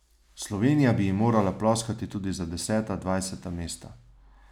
Slovenija bi ji morala ploskati tudi za deseta, dvajseta mesta.